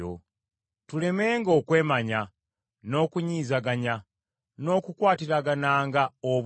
Tulemenga okwemanya, n’okunyizaganya, n’okukwatiragananga obuggya.